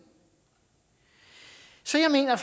så jeg mener